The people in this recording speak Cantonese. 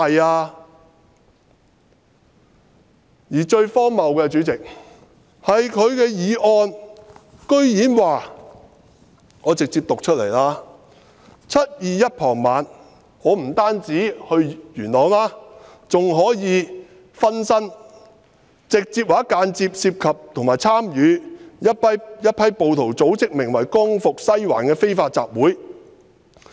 他的議案最荒謬的是，我直接讀出來 ："2019 年7月21日傍晚，林卓廷議員直接或間接地涉及或參與由一批暴徒組織的名為'光復西環'的非法集會。